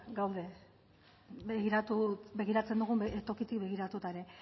gaude begiratzen dugun tokitik begiratuta ere